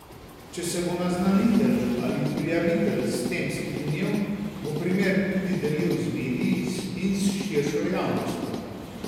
Če se bo naznanitelj ali prijavitelj s tem strinjal, bo primer tudi delil z mediji in s širšo javnostjo.